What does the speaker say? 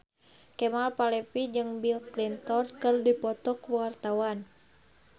Kemal Palevi jeung Bill Clinton keur dipoto ku wartawan